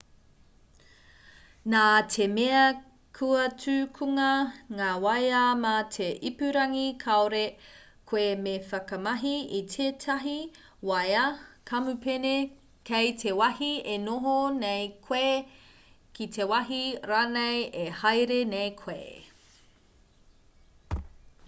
nā te mea kua tukunga ngā waea mā te ipurangi kāore koe me whakamahi i tētahi wāea kamupene kei te wāhi e noho nei koe ki te wāhi rānei e haere nei koe